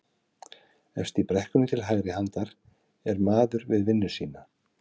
Efst í brekkunni til hægri handar er maður við vinnu sína